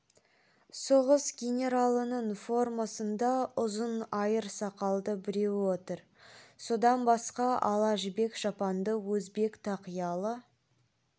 соғыс генералының формасында ұзын айыр сақалды біреу отыр одан басқа ала жібек шапанды өзбек тақиялы